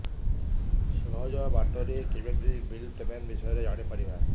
ସହଜ ବାଟ ରେ କେମିତି ବିଲ୍ ପେମେଣ୍ଟ ବିଷୟ ରେ ଜାଣି ପାରିବି